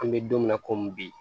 An bɛ don min na komi bi